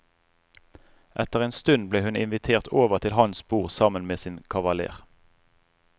Etter en stund ble hun invitert over til hans bord sammen med sin kavaler.